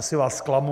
Asi vás zklamu.